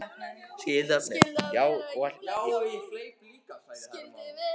Já, og hleyp líka, sagði Hermann.